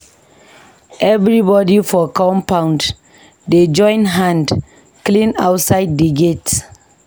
Everybodi for compound dey join hand clean outside di gate.